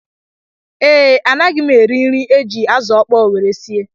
Ee, anaghim eri nri e ji azụ ọkpọọ nwere sie